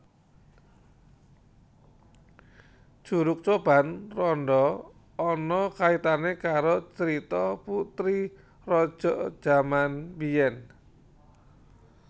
Curug Coban Rondo ana kaitane karo crito putri raja jaman mbiyen